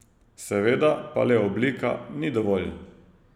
Seveda pa le oblika ni dovolj.